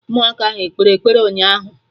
Ụmụaka ahụ ekpere ekpere ụnyaahụ?